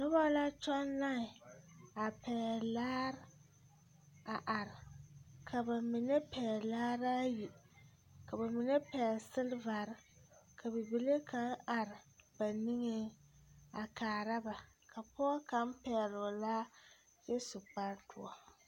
Noba la kyɔŋ laen a pɛgle laare a are ka ba mine p̃gle laare ayi ka ba mine pɛgle silvari ka bibile kaŋ are ba niŋeŋ a kaara ba ka pɔge kaŋ pɛgle o laa kyɛ su kparedoɔ.